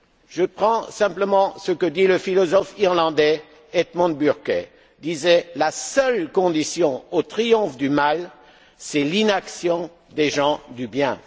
Je prends simplement ce qu'a dit le philosophe irlandais Edmund Burke, à savoir que la seule condition au triomphe du mal, c'est l'inaction des gens du bien.